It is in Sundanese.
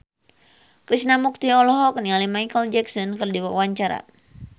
Krishna Mukti olohok ningali Micheal Jackson keur diwawancara